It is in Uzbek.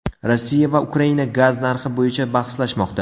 Rossiya va Ukraina gaz narxi bo‘yicha bahslashmoqda.